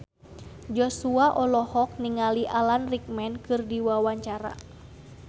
Joshua olohok ningali Alan Rickman keur diwawancara